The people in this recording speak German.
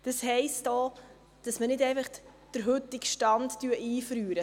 Das heisst auch, dass wir nicht einfach den heutigen Stand einfrieren.